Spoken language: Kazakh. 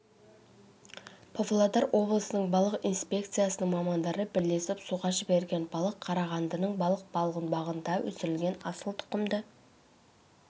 павлодар облысының балық инспекциясының мамандары бірлесіп суға жіберген балық қарағандының балық балғынбағында өсірілген асыл тұқымды